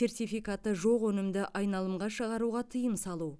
сертификаты жоқ өнімді айналымға шығаруға тыйым салу